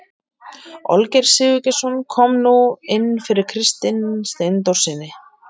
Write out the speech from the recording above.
Olgeir Sigurgeirsson kom nú inn fyrir Kristin Steindórssyni.